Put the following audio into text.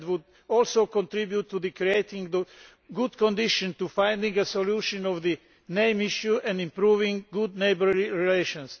This would also contribute to creating good conditions for finding a solution to the name issue and improving good neighbourly relations.